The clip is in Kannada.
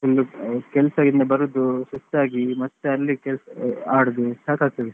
ಕೆಲಸಯಿಂದ ಬರುದು ಸುಸ್ತಾಗಿ ಮತ್ತೆ ಅಲ್ಲಿ ಕೆಲಸ ಆಡುದು ಸಾಕಾಗ್ತದೆ.